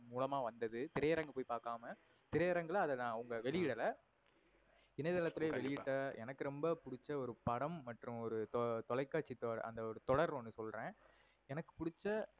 மூலமா வந்தது திரைஅரங்கு போயி பார்க்காம திரைஅரங்குல அவங்க வெளியிடல. இணையதளத்துலயே வெளியட்ட எனக்கு ரொம்ப பிடிச்ச ஒரு படம் மற்றும் ஒரு தொலைகாட்சி தொடர் அந்த ஒரு தொடர் ஒன்னு சொல்றன் எனக்கு புடிச்ச